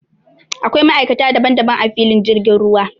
Akwai ma'aikata daban daban a filin jirgin ruwa